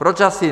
Proč asi?